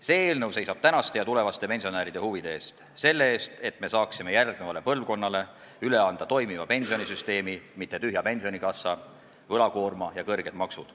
See eelnõu seisab tänaste ja tulevaste pensionäride huvide eest, selle eest, et me saaksime järgnevale põlvkonnale üle anda toimiva pensionisüsteemi, mitte tühja pensionikassa, võlakoorma ja kõrged maksud.